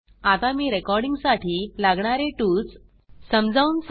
आता मी रेकॉर्डिंग साठी लागणारे टूल्ससाधने समजवुन सांगते